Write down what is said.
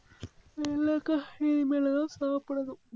இல்லை அக்கா, இனிமேல்தான் சாப்பிடணும்.